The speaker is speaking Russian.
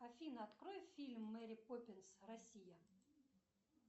афина открой фильм мэри поппинс россия